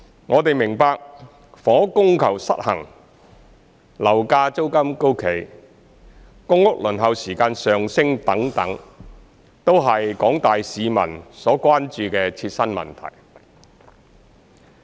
我們明白，房屋供求失衡、樓價租金高企、公屋輪候時間上升等，都是廣大市民所關注的切身問題。